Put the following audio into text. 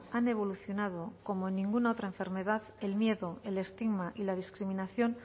han evolucionado como en ninguna otra enfermedad el miedo el estigma y la discriminación